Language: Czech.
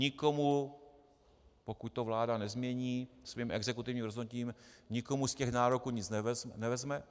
Nikomu, pokud to vláda nezmění svým exekutivním rozhodnutím, nikomu z těch nároků nic nevezme.